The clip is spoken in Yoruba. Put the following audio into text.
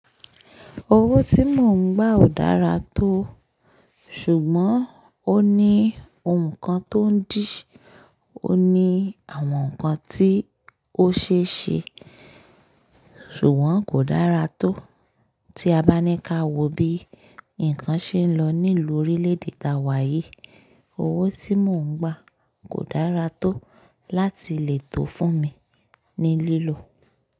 Owó tí mò ń gbà ò dára tó, ṣùgbọ́n ó ní ohun kan tó ń dí, ó ní àwọn nǹkan tí ó ṣe é ṣe, ṣùgbọ́n kò dára tó. Tí a bá ní ká wo bí nǹkan ṣe lọ nílùú orílẹ̀-èdè táwa yìí, owó tí mò ń gbà kò dára tó láti lè tò fún mi ní lílò.